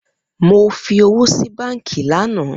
Mo fi owo si banki lana.